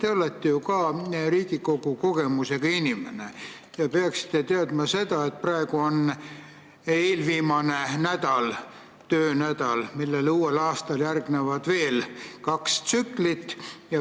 Te olete ju ka Riigikogu kogemusega inimene ja peaksite teadma, et praegu on tänavune eelviimane töönädal, millele uuel aastal järgnevad veel kaks tsüklit.